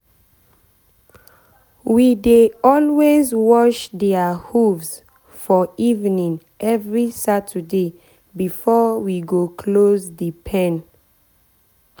we dey always wash dia hooves for evening every saturday before we go close the pen.